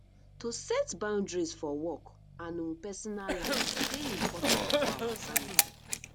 to set boundaries for work and um personal life dey important for our sanity